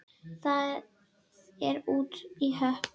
Það er út í hött.